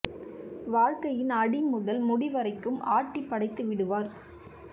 வாழ்க்கையின் அடி முதல் முடி வரைக்கும் ஆட்டி படைத்து விடுவார்